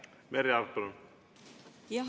Merry Aart, palun!